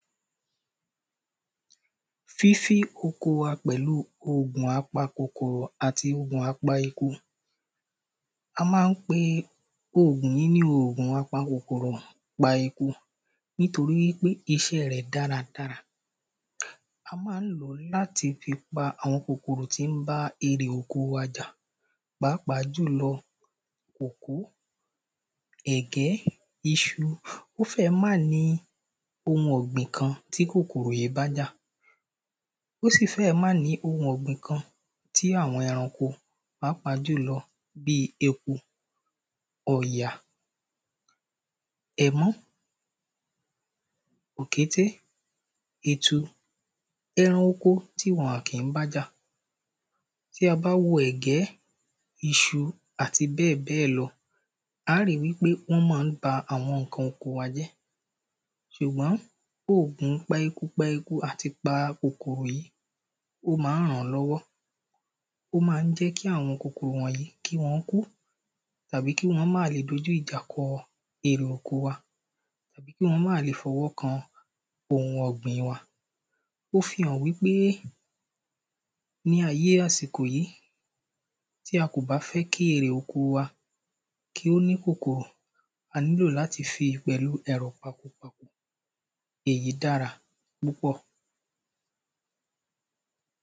fífí oko wa pẹ̀lú ògùn apa kòkòrò àbí ògùn apa eku a máa ń pe ògùn yìí ní ògùn apa kòkòrò pa eku nítoɹí pé iṣẹ́ rẹ̀ dáradára a máa ń lòó láti fi pa àwọn kòkòrò tí ń bá erè oko wa jà pàápàá jùlọ kòkó, ẹ̀gẹ́, iṣu, ó fẹ́ẹ̀ máà ní ohun ọ̀gbìn kan tí kòkòrò yìí bájà ó sì fẹ́ẹ̀ má ní ohun ọ̀gbìn kan tí àwọn ẹranko pàápàá jùlọ eku, ọ̀yà, ẹmọ́, òkété, etu, ẹran oko tí wọn ò kí bájà bí a bá wo ẹ̀gẹ́, iṣu àti bẹ́ẹ̀bẹ́ẹ̀ lọ, ári wípé wọn máa ń ba àwọn ǹkan oko wa jẹ́ ṣùgbọ́n ògùn pa eku pa eku àti pa kòkòrò yí ó máa ń ràn lọ́wọ́ ó máa ń jẹ́ kí àwọn kòkòrò wọ̀nyí kí wọn kú tàbí kí wọn má lè dojú ìjà kọ erè oko wa àbí kí wọ́n má lè fọwọ́ kan ohun ọ̀gbìn wa ó fihàn wípé ní ayé àsìkò yí tí a kò bá fẹ́ kí erè oko wa kí ó ní kòkòrò a nílò láti fi pẹ̀lú ẹ̀rọ pako èyí dára púpọ̀